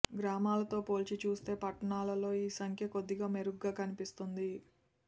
గ్రామాలతో పోల్చి చూస్తే పట్టణాలలో ఈ సంఖ్య కొద్దిగా మెరుగ్గా కనిపిస్తోంది